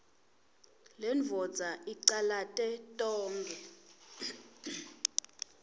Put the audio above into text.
lendvodza icalate tonkhe